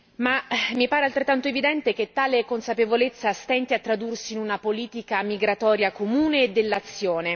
Ma mi pare altrettanto evidente che tale consapevolezza stenti a tradursi in una politica migratoria comune e dell'azione.